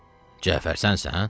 Cəfər sənsən?